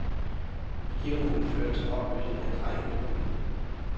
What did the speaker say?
Begivenheden førte til opløsningen af drengeklubben.